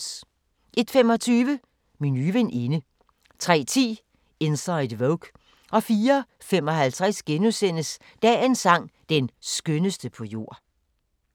01:25: Min nye veninde 03:10: Inside Vogue 04:55: Dagens sang: Den skønneste på jord *